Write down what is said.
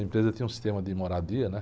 A empresa tinha um sistema de moradia, né?